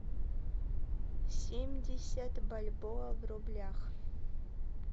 семьдесят бальбоа в рублях